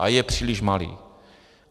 A je příliš malý.